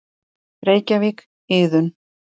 Reykjavík: Iðunn.